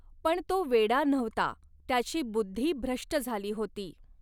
पण तो वेडा नव्हता, त्याची बुद्धि भ्रष्ट झाली होती.